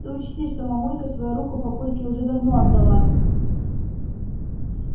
ты учти что мамулька свою руку папульке уже давно отдала